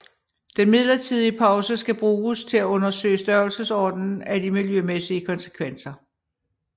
Den midlertidige pause skal bruges til at undersøge størrelsesordenen af de miljømæssige konsekvenser